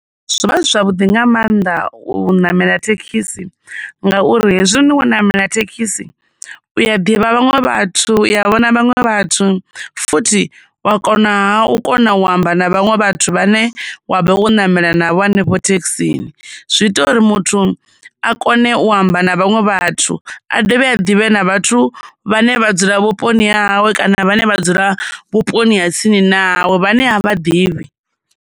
Zwo vha zwi zwavhuḓi nga maanḓa u ṋamela thekhisi, ngauri hezwi wo ṋamela thekhisi, u ya divha vhanwe vhathu u ya vhona vhaṅwe vhathu, futhi, wa konaha u kona u amba na vhaṅwe vhathu vhane wa vha wo ṋamela na vho hanefho thekhisini. Zwi ita uri muthu a kone u amba na vhaṅwe vhathu, a dovhe a ḓivhe na vhathu vhane vha dzula vhuponi ha hawe kana vhane vha dzula vhuponi ha tsini na ha hawe vhane a vha ḓivhi.